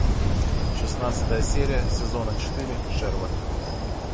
шестнадцатая серия сезона четыре шерлок